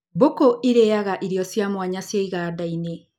Mbũkũ cirĩaga ĩrio cia mwanya cia igandainĩ.